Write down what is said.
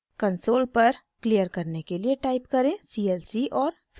console पर clear करने के लिए टाइप करें clc और फिर टाइप करें: